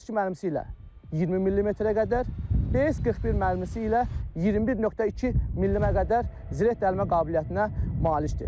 B-32 mərmisi ilə 20 millimetrə qədər, B-41 mərmisi ilə 21.2 millimetrə qədər zireh dəlmə qabiliyyətinə malikdir.